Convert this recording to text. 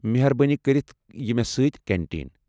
میہربٲنی كرِتھ یہِ مےٚ سۭتۍ كینٹین ۔